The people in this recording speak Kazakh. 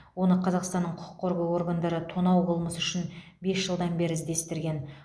оны қазақстанның құқық қорғау органдары тонау қылмысы үшін бес жылдан бері іздестірген